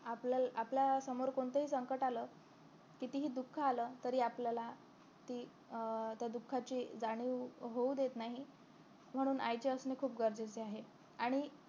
आपल्या आपल्याला समोर कोणतंही संकट आलं कितीही दुःख आलं तरी आपल्याला ते अं त्या दुःखाचे जाणीव होऊ देत नाही म्हणून आईचे असणे खूप गरजेचे आहे